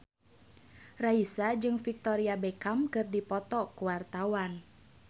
Raisa jeung Victoria Beckham keur dipoto ku wartawan